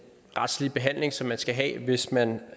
retslige behandling som man skal have hvis man